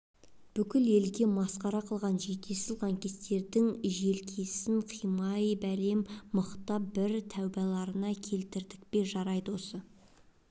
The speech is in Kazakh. бүкіл елге масқара қылған жетесіз лаңкестердің желкесін қимай бәлем мықтап бір тәубаларыңа түсірдік пе жарайды осы